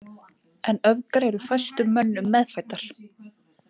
En öfgar eru fæstum mönnum meðfæddar.